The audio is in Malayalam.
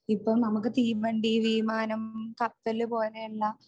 ഇപ്പോ നമുക്ക് തീവണ്ടി, വീമാനം, കപ്പല് പോലെ എല്ലാം